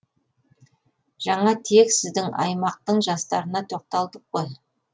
жаңа тек сіздің аймақтың жастарына тоқталдық қой